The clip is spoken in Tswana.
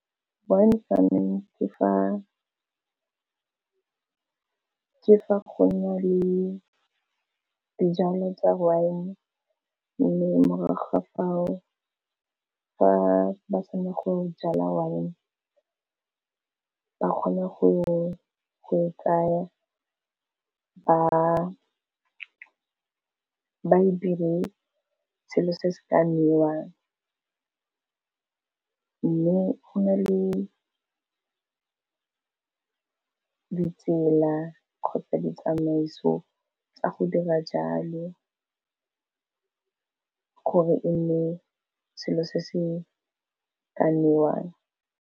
Wine farming ke fa go nale le di jalo tsa wine, mme mo morago ga fao fa ba sena go jala wine ba kgone go e tsaya ba e dire selo se se ka nwewang. Mme go na le ditsela kgotsa ditsamaiso tsa go dira jalo gore e nne selo se se ka nwewang.